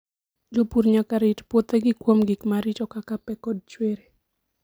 Jopur nyaka rit puothegi kuom gik maricho kaka pe koda chwiri.